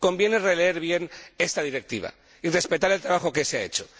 Conviene releer bien esta Directiva y respetar el trabajo que se ha hecho.